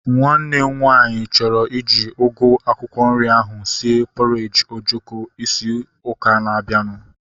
Nwanne m nwaanyị chọrọ iji ugu akwụkwọ nri ahu sie pọreji ojoko ịzụ ụka na-abianu